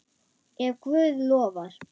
Ef Guð lofar.